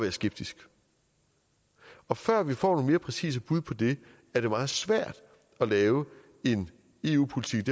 er skeptisk og før vi får nogle mere præcise bud på det er det meget svært at lave en eu politik